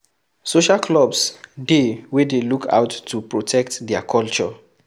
Social clubs dey wey dey look out to protect their culture